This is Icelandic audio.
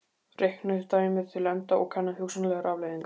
Reiknið dæmið til enda og kannið hugsanlegar afleiðingar.